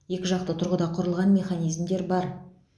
екіжақты тұрғыда құрылған механизмдер бар